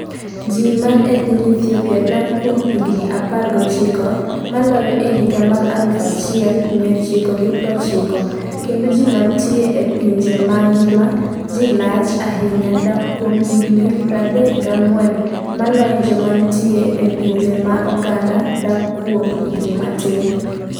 Ji man e piny Ethiopia dak kuom higni 19 maloyo e higa mar 1990 kendo ji mantie e pinje ma ngima ji lach ahinya dak kuom higni 34 maloyo jomantie e pinje ma oganda dak kuom higni matin.